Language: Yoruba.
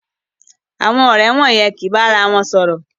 Àwọn ọrẹ wọ̀yen ki ba àrà wọn sọrọ